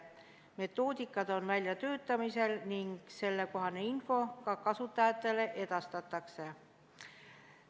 Metoodika on väljatöötamisel ning info ka kasutajatele edastatakse.